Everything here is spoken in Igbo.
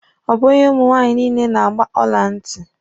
Ọ bụghị ụmụ nwaanyị niile na-agba ọla ntị.